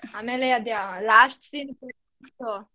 ಆಮೇಲೆ ಅದೇ last scene .